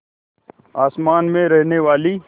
आसमान में रहने वाली